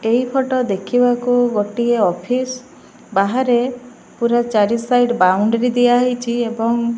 ଏଇ ଫଟୋ ଦେଖିବାକୁ ଗୋଟିଏ ଅଫିସ । ବାହାରେ ପୁରା ଚାରିସାଇଡ ବାଉଣ୍ଡରୀ ଦିଆହେଇଚି ଏବଂ ---